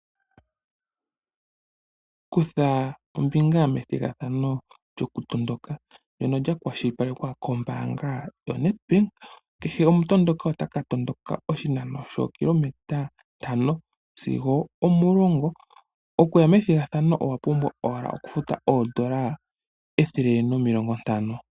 Kutha ombinga methigathano lyoku tondoka ndono lya kwashilipalekwa kombaanga yoNEDBANK. Kehe omutondoki otaka tondoka oshinano shookilometa ntano sigo omulongo. Okuya methigathano owa pumbwa owala oku futa oondola ethele nomilongo ntano.